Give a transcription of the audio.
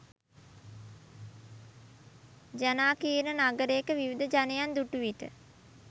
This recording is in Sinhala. ජනාකීර්ණ නගරයක විවිධ ජනයන් දුටු විට